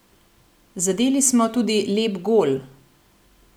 Zadeli smo tudi lep gol.